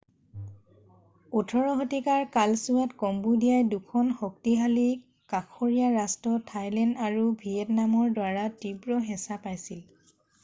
18 শতিকাৰ কালছোৱাত কম্বোদিয়াই 2খন শক্তিশালী কাষৰীয়া ৰাষ্ট্ৰ থাইলেণ্ড আৰু ভিয়েটনামৰ দ্বাৰা তীব্ৰ হেঁচা পাইছিল